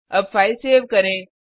अब file save करें